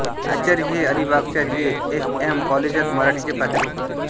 आचार्य हे अलीबागच्या J S M काॅलेजात मराठीचे प्राध्यापक होते